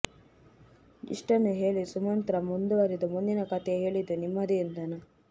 ಇಷ್ಟನ್ನು ಹೇಳಿ ಸುಮಂತ್ರ ಮುಂದುವರೆದು ಮುಂದಿನ ಕಥೆ ಹೇಳಿದ್ದು ನಿಮ್ಮದೇ ಎಂದನು